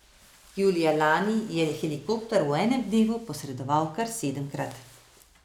Julija lani je helikopter v enem dnevu posredoval kar sedemkrat.